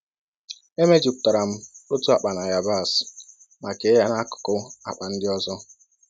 E mejupụtara m otu akpa na yabasị ma kee ya n'akụkụ akpa ndị ọzọ.